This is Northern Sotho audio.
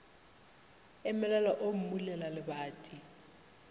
a emelela o mmulela lebati